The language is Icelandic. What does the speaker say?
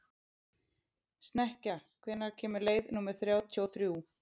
Snekkja, hvenær kemur leið númer þrjátíu og þrjú?